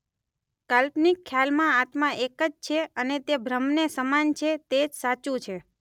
કાલ્પનિક ખ્યાલમાં આત્મા એક જ છે અને તે બ્રહ્મને સમાન છે તે જ સાચું છે.